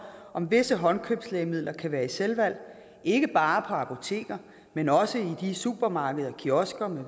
om visse håndkøbslægemidler kan være i selvvalg ikke bare på apoteker men også i de supermarkeder kiosker